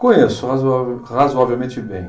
Conheço razoável razoavelmente bem.